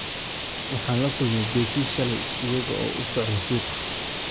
Waxaan la kulmay Becky shalay iyaga oo u socda suuqa